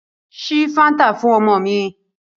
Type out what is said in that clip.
Ṣí Fáńtà fún ọmọ mi.